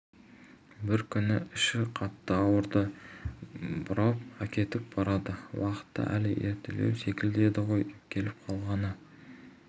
бір күні іші қатты ауырады бұрап әкетіп барады уақыты әлі ертелеу секілді еді ғой келіп қалғаны